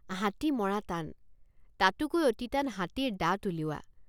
হাতী মৰা টান। তাতোকৈ অতি টান হাতীৰ দাঁত উলিওৱা।